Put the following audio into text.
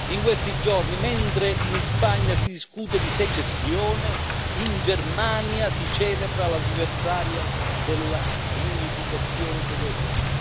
In questi giorni, mentre in Spagna si discute di secessione, in Germania si celebra l'anniversario della riunificazione tedesca.